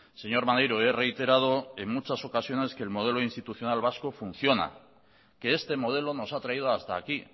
señor maneiro he reiterado en muchas ocasiones que el modelo institucional vasco funciona que este modelo nos ha traído hasta aquí